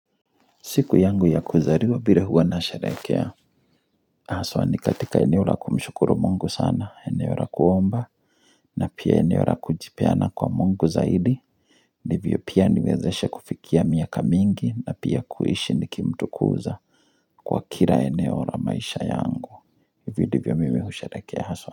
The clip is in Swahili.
Siku yangu ya kuzaliwa vile huwa nasherehekea Haswa ni katika eneo la kumshukuru mungu sana, eneo la kuomba na pia eneo la kujipeana kwa mungu zaidi Ndivyo pia niwezeshe kufikia miaka mingi na pia kuishi nikimtukuza Kwa kila eneo la maisha yangu Hivyo ndivyo mimi husherehekea haswa.